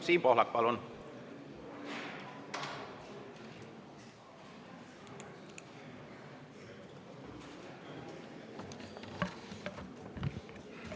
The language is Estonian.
Siim Pohlak, palun!